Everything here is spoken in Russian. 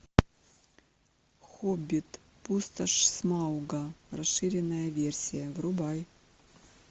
хоббит пустошь смауга расширенная версия врубай